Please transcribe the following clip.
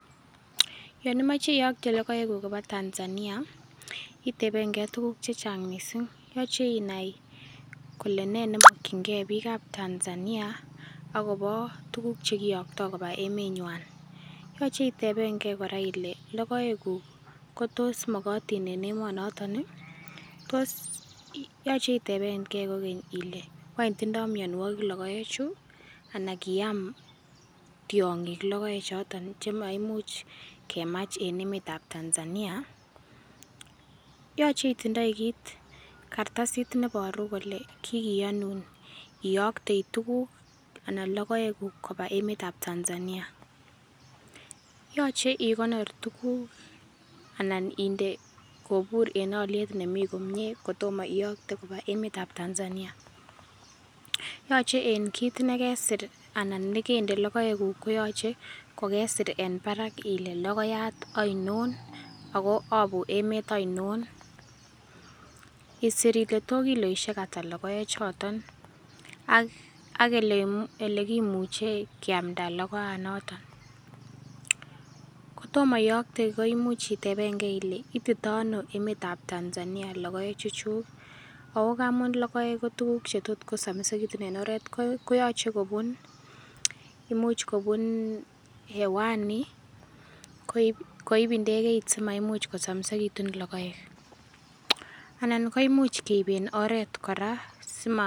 Yon imoe iyokte logoekuk koba Tanzania, itebengei tuguk chechang' missing' yoche inai kole nee nemokyingei bikab Tanzania agobo tuguk chekiyokto koba emenywan . Yoche itebengei kora ile logoekuk kotos mokotin en emonoton ii? Tos yoche itebengei kokeny ile wany tindoi mionwogik logoechu? Ana kiam tiong'ik logoechoton chemaimuch kemach en emetab Tanzania. Yoche itindoi kit kartasit neboru kole kikiyonun iyokte tuguk ana logoekuk koba emetab Tanzania. Yoche ikonor tuguk anan kobur en oliet nemi komie kotomo iyokte koba emetab Tanzania. Yoche en kit nekesir ana nekende logoekuk koyoche kokesir en barak ile logoyat oinon ogo obu emet oinon, isir ile to kiloisiek ata logoechoton ak ak olekimuche kiamnda logoanoton. Kotomo iyokte koimuch itepengei ile itito ono emetab Tanzania logoechuchuk. Ako kamon logoek ko tuguk chetot kosomisekitun en oret ko koyoche kobun imuch kobun hewani koib koib ndegeit simaimuch kosomesiketun logoek. Anan imuch keiben oret kora sima.